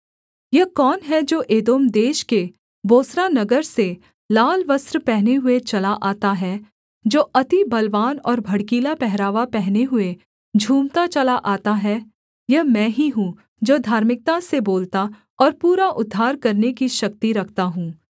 यह कौन है जो एदोम देश के बोस्रा नगर से लाल वस्त्र पहने हुए चला आता है जो अति बलवान और भड़कीला पहरावा पहने हुए झूमता चला आता है यह मैं ही हूँ जो धार्मिकता से बोलता और पूरा उद्धार करने की शक्ति रखता हूँ